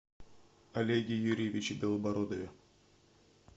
олеге юрьевиче белобородове